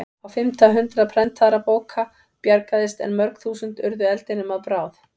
Á fimmta hundrað prentaðra bóka bjargaðist en mörg þúsund urðu eldinum að bráð.